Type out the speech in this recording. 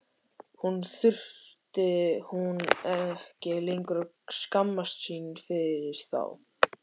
Nú þurfti hún ekki lengur að skammast sín fyrir þá.